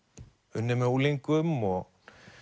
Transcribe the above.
unnið með unglingum og